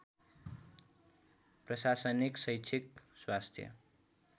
प्रशासनिक शैक्षिक स्वास्थ्य